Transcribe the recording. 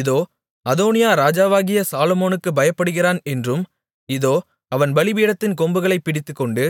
இதோ அதோனியா ராஜாவாகிய சாலொமோனுக்குப் பயப்படுகிறான் என்றும் இதோ அவன் பலிபீடத்தின் கொம்புகளைப் பிடித்துக்கொண்டு